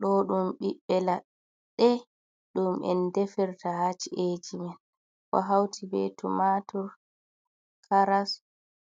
Ɗo ɗum biɓɓe laɗɗe ɗum en defirta ha ci’eji man, ɗo hauti bee tumatur, karas,